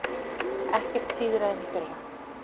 Ekkert síðra en í fyrra